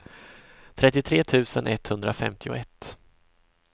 trettiotre tusen etthundrafemtioett